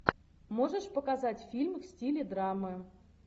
можешь показать фильм в стиле драмы